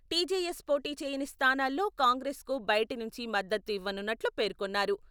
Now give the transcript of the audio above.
TJS పోటీ చేయని స్థానాల్లో కాంగ్రెస్కు బయటి నుంచి మద్దతు ఇవ్వనున్నట్లు పేర్కొన్నారు.